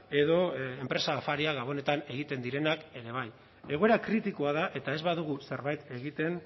edo enpresa afariak gabonetan egiten direnak ere bai egoera kritikoa da eta ez badugu zerbait egiten